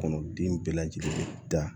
Kɔnɔden bɛɛ lajɛlen bɛ da